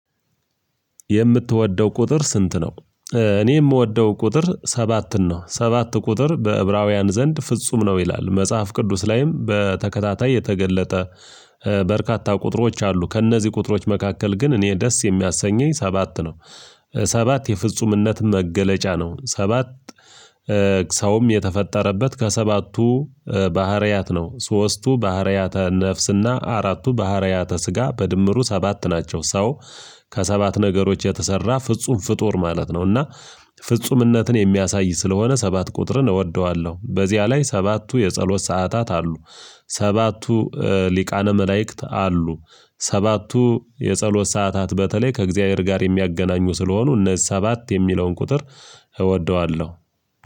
የምትወደው ቁጥር ስንት ነው? እኔ ምወደው ቁጥር ሰባትን ነው ሰባት ቁጥር በዕብራውያን ዘንድ ፍጹም ነው ይላል መጽሐፍ ቅዱስ ላይም በተከታታይ የተገለጠ በርካታ ቁጥሮች አሉ ከእነዚህ ቁጥሮች መካከል ግን እኔ ደስ የሚያሰኘኝ ሰባት ነው። ሰባት የፍጹምነት መገለጫ ነው ሰባት። ሰውም የተፈጠረበት ከሰባቱ ባህሪያት ነው ሶስቱ ባህሪያተ ነፍስና አራቱ ባህሪያተ ስጋ በድምሩ ሰባት ናቸው። ሰው ከሰባት ነገሮች የተሰራ ፍጹም ፍጡር ማለት ነውና። ፍጹምነትን የሚያሳይ ስለሆነ ሰባት ቁጥርን እወደዋለሁ በዚያ ላይ ሰባቱ የጸሎት ሰዓታት አሉ። ሰባቱ ሊቃነ መላእክት አሉ ሰባቱ የጸሎት ሰዓታት በተለይ ከእግዚአብሔር ጋር የሚያገናኙ ስለሆኑ እነዚህ ሰባት የሚለውን ቁጥር እወደዋለሁ።